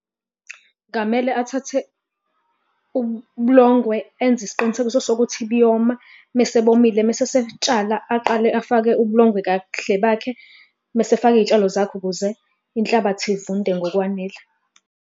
Kungamele athathe ubulongwe enze isiqinisekiso sokuthi buyoma, mese bomile mese esebutshala aqale afake ubulongwe kahle bakhe, mese efaka iy'tshalo zakhe ukuze inhlabathi ivunde ngokwanele.